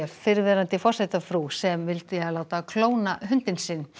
fyrrverandi forsetafrú sem vilja láta klóna hundinn sinn